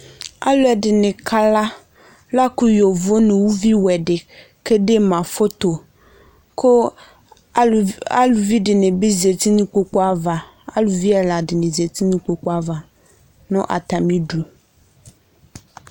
Alʋɛdini kala lakʋ yovo nʋ uvi vɛ di kedema foto kʋ aluvi dini bi zati n'ikpoku ava, aluvi ɛla dini zati n'ikpoku ava nʋ atamidu